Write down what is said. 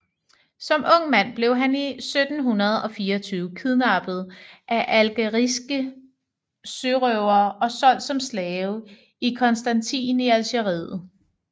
Som ung mand blev han i 1724 kidnappet af algeriske sørøvere og solgt som slave i Constantine i Algeriet